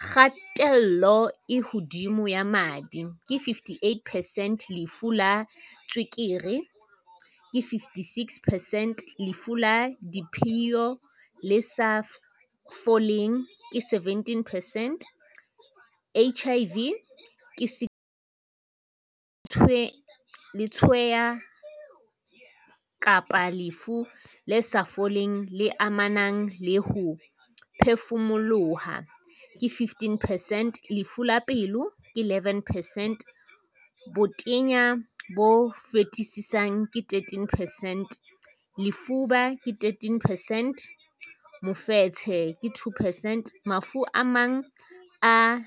Kgatello e hodimo ya madi, ke 58 percent Lefu la tswekere, ke 56 percent Lefu la diphio le sa foleng, ke 17 percent HIV, ke 16 percent Letshweya kapa lefu le sa foleng le amanang le ho phefumoloha, ke 15 percent Lefu la pelo, ke 11 percent Botenya bo fetisisang, ke 13 percent Lefuba, ke 13 percent Mofetshe, ke 2 percent Mafu a mang a